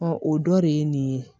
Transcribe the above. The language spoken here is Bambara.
o dɔ de ye nin ye